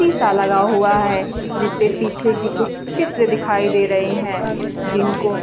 शीशा लगा हुआ है जिसपे पीछे कुछ चित्र दिखाई दे रहे हैं जिनको--